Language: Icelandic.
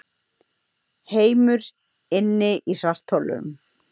Heimur inni í svartholum